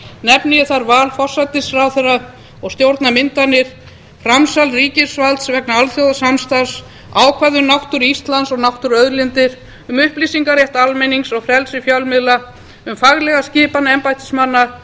nefni ég þar val forsætisráðherra og stjórnarmyndanir framsal ríkisvalds vegna alþjóðasamstarfs ákvæði um náttúru íslands og náttúruauðlindir upplýsingarétt almennings og frelsi fjölmiðla faglega skipun embættismanna